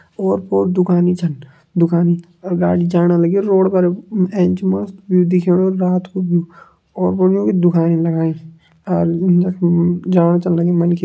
ओर पोर दुकानी छन। दुकानी अर गाड़ी जाणा लगी रोड पर एंच मस्त व्यू दिखेणु रात कु व्यू ओर पोर युं कि दुखानी लगाईं। अर म म जाणा छन लगी मनखी।